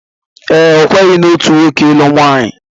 Ee, okwenyeghi na otu nwoke ilụ otu nwaanyị.